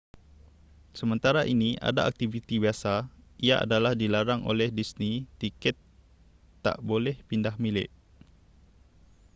sementara ini ada aktiviti biasa ia adalah dilarang oleh disney tiket tak boleh pindahmilik